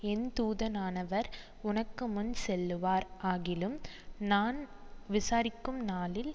என் தூதனானவர் உனக்கு முன் செல்லுவார் ஆகிலும் நான் விசாரிக்கும் நாளில்